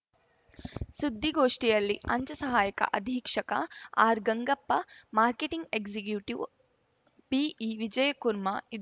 ಸುದ್ದಿಗೋಷ್ಠಿಯಲ್ಲಿ ಅಂಚೆ ಸಹಾಯಕ ಅಧೀಕ್ಷಕ ಆರ್‌ಗಂಗಪ್ಪ ಮಾರ್ಕೆಟಿಂಗ್‌ ಎಕ್ಸಿಕ್ಯೂಟಿವ್‌ ಬಿಇವಿಜಯಕುರ್ಮಾ ಇದ್ದ